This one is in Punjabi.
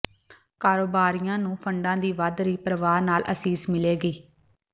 ਕਾਰੋਬਾਰੀਆਂ ਨੂੰ ਫੰਡਾਂ ਦੀ ਵੱਧ ਰਹੀ ਪ੍ਰਵਾਹ ਨਾਲ ਅਸੀਸ ਮਿਲੇਗੀ